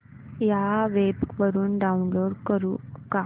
या वेब वरुन डाऊनलोड करू का